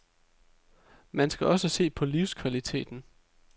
Man skal også se på livskvaliteten.